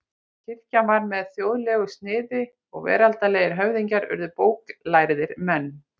Kirkjan varð með þjóðlegu sniði og veraldlegir höfðingjar urðu bóklærðir menn.